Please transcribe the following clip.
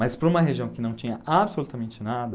Mas para uma região que não tinha absolutamente nada,